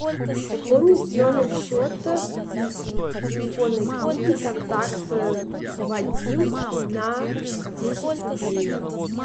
пополнить номер счета из телефонной книги контакт вадим на десять рублей